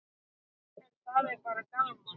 En það er bara gaman.